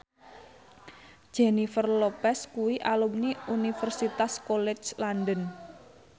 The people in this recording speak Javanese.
Jennifer Lopez kuwi alumni Universitas College London